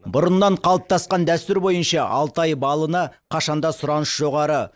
бұрыннан қалыптасқан дәстүр бойынша алтай балына қашан да сұраныс жоғары